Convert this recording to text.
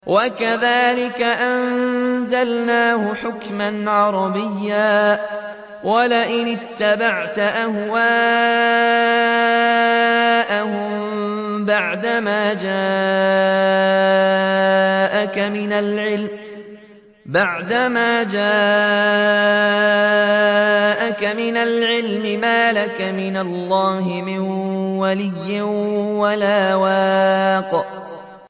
وَكَذَٰلِكَ أَنزَلْنَاهُ حُكْمًا عَرَبِيًّا ۚ وَلَئِنِ اتَّبَعْتَ أَهْوَاءَهُم بَعْدَمَا جَاءَكَ مِنَ الْعِلْمِ مَا لَكَ مِنَ اللَّهِ مِن وَلِيٍّ وَلَا وَاقٍ